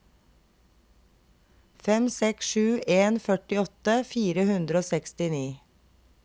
fem seks sju en førtiåtte fire hundre og sekstini